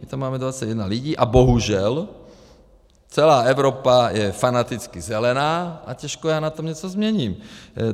My tam máme 21 lidí a bohužel celá Evropa je fanaticky zelená a těžko já na tom něco změním.